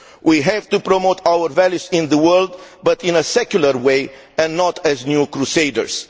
We have to promote our values in the world but in a secular way and not as new crusaders.